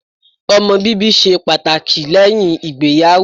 Ọmọ bíbí ṣe pàtàkì lẹ́yìn ìgbéyàwó.